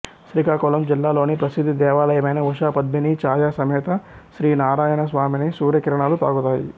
శ్రీకాకుళం జిల్లాలోని ప్రసిద్ధ దేవాలయమైన ఉషా పద్మినీ ఛాయా సమేత శ్రీ నారాయణ స్వామిని సూర్య కిరణాలు తాకుతాయి